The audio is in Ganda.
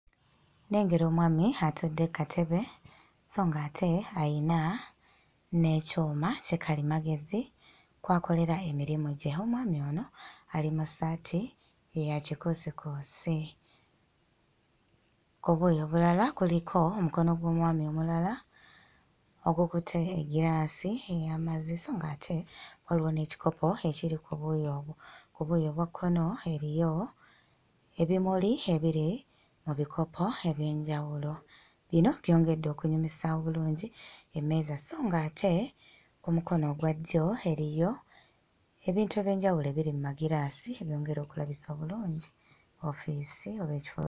Nnengera omwami atudde kkatebe so ng'ate alina n'ekyuma ki kalimagezi kw'akolera emirimo gye. Omwami ono ali mu ssaati eya kikuusikuusi. Obuuyi obulala kuliko omukono ogw'omwami omulala ogukutte eggiraasi ey'amazzi so ng'ate waliwo n'ekikopo ekiri ku buuyi obwo. Ku buuyi obwa kkono eriyo ebimuli ebiri mu bikopo eby'enjawulo. Bino byongedde okulabisa obulungi emmeeza so ng'ate ku mukono ogwa ddyo eriyo ebintu eby'enjawulo ebiri mmagiraasi ebyongedde okulabisa obulungi woofiisi oba ekifo.